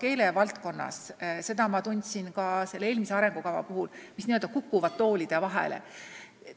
keelevaldkonnaski – seda ma tundsin ka eelmise arengukava puhul – palju asju, mis on kukkunud toolide vahele.